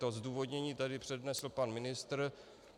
To zdůvodnění tady přednesl pan ministr.